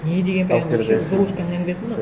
не деген прямо вообще золушканың әңгімесі мынау